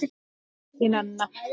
Þín, Anna.